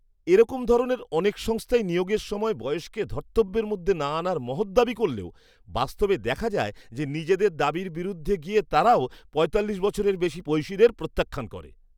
এরকম ধরনের অনেক সংস্থাই নিয়োগের সময় বয়সকে ধর্তব্যের মধ্যে না আনার মহৎ দাবি করলেও বাস্তবে দেখা যায় যে নিজেদের দাবির বিরুদ্ধে গিয়ে তারাও পঁয়তাল্লিশ বছরের বেশি বয়সীদের প্রত্যাখ্যান করে।